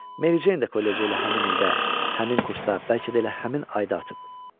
Mary Jane də kollecdə elə həmin ildə, həmin kursda, bəlkə də elə həmin ayda atıb.